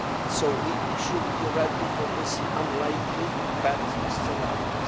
So we should be ready for this unlikely bad scenario.